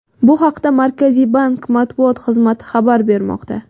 Bu haqda Markaziy bank matbuot xizmati xabar bermoqda .